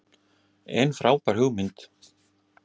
En frábær hugmynd.